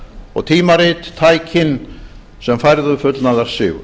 og tímarit tækin sem færðu fullnaðarsigur